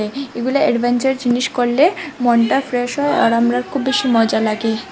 এগুলা অ্যাডভেঞ্চার জিনিস করলে মনটা ফ্রেশ হয় আর আমরার খুব বেশি মজা লাগি।